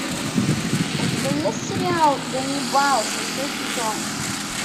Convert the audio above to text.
у тебя есть сериал ганнибал шестой сезон